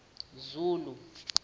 zulu